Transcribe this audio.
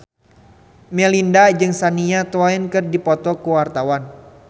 Melinda jeung Shania Twain keur dipoto ku wartawan